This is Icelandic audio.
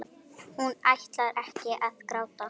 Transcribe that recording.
Hún ætlar ekki að gráta.